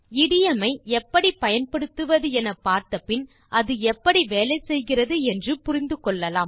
இடியோம் மை எப்படி பயன்படுத்துவது என பார்த்த பின் அது எப்படி வேலை செய்கிறது என்று புரிந்துகொள்ளலாம்